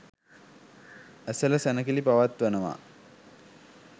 ඇසළ සැණකෙළි පවත්වනවා.